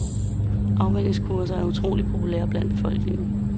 Afvænningskurser er utroligt populære blandt befolkningen.